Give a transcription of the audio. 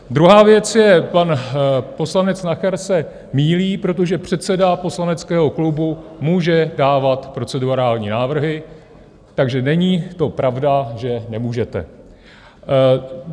Druhá věc je - pan poslanec Nacher se mýlí, protože předseda poslaneckého klubu může dávat procedurální návrhy, takže není to pravda, že nemůžete.